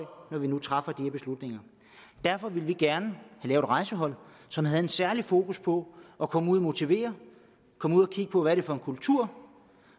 når vi nu træffer de her beslutninger derfor ville vi gerne have rejsehold som havde et særligt fokus på at komme ud at motivere komme ud at kigge på hvad det er for en kultur